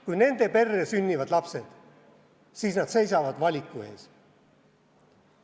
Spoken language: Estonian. Kui nende perre sünnivad lapsed, siis nad seisavad valiku ees.